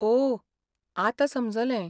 ओह, आतां समजलें.